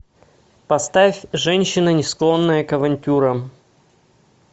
поставь женщина не склонная к авантюрам